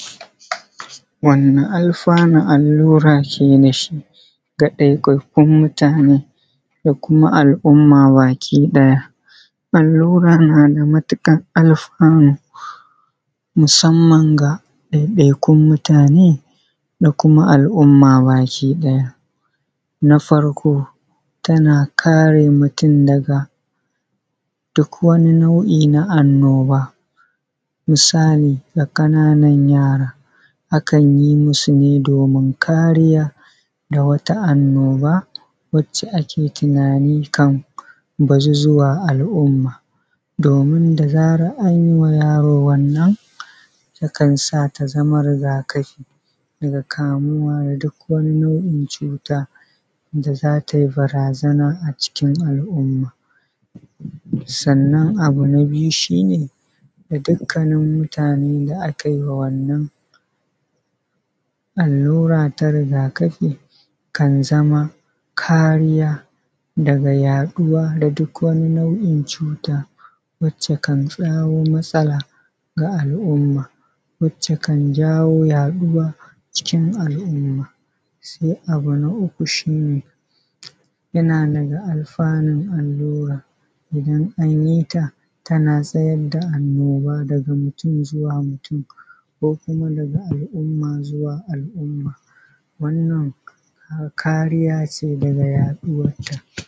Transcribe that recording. Wani alfanu allura ke dashi ga ɗaiɗaikun mutane da kuma al’umma baki ɗaya? Allura na matuƙar alfanu musamman ga ɗaiɗaikun mutane da kuma al’umma baki ɗaya. Na farko tana kare mutum daga duk wani nau’i na annoba, misali ga ƙananan yara akan yi musu ne domin kariya da wata annoba wacce ake tunani kam bazu zuwa ga al’umma, domin da zaran anyima yaro wannan takan sa ta zama rigakafi daga kamuwa duk wani nau’in cuta da za tai barazana a cikin al’umma. Sannan abu na biyu shi ne, ga dukkanin mutane da akai wa wannan allura ta rigakafi kan zama kariya, daga yaɗuwa da duk wani nau’in cuta wacce kan kawo matsala ga al’umma, wacce kan jawo yaɗuwa cikin al’umma. Sai abu na uku shi ne yana daga alfanun allura idan anyi ta tana tsayar da annoba daga mutum zuwa mutum, ko kuma daga al’umma zuwa al’umma wannan kariya ce daga yaɗuwarta.